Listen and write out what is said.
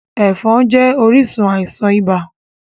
Ẹ̀fọn jẹ́ orísun àisàn ibà